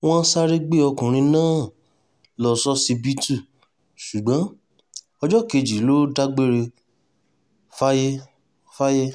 wọ́n sáré gbé ọkùnrin náà lọ ṣọsibítù ṣùgbọ́n ọjọ́ kejì ló dágbére fáyé fáyé